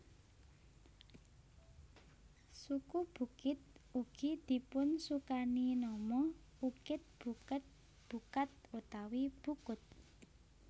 Suku Bukit ugi dipunsukani nama Ukit Buket Bukat utawi Bukut